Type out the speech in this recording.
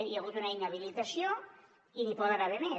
hi ha hagut una inhabilitació i n’hi poden haver més